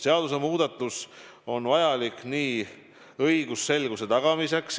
Seadusmuudatus on vajalik õigusselguse tagamiseks.